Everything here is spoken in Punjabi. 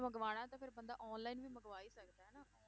ਮੰਗਵਾਉਣਾ ਤੇ ਫਿਰ ਬੰਦਾ online ਵੀ ਮੰਗਵਾ ਹੀ ਸਕਦਾ ਹੈ ਨਾ।